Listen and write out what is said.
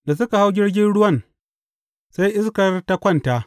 Da suka hau jirgin ruwan, sai iskar ta kwanta.